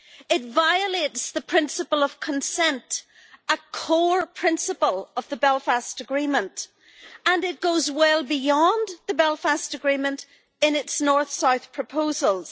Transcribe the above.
It violates the principle of consent a core principle of the Belfast Agreement and it goes well beyond the Belfast Agreement in its north south proposals.